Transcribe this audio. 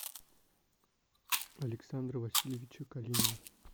александра васильевича калинина